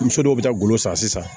Muso dɔw bɛ taa golo san sisan